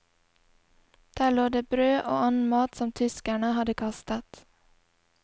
Der lå det brød og annen mat som tyskerne hadde kastet.